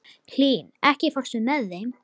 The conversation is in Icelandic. Hlín, ekki fórstu með þeim?